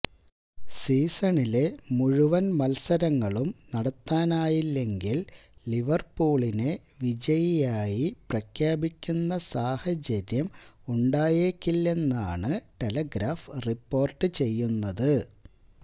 സീസണിലെ മുഴുവന് മത്സരങ്ങളും നടത്താനായില്ലെങ്കില് ലിവര്പൂളിനെ വിജയിയായി പ്രഖ്യാപിക്കുന്ന സാഹചര്യം ഉണ്ടായേക്കില്ലെന്നാണ് ടെലിഗ്രാഫ് റിപ്പോര്ട്ട് ചെയ്യുന്നത്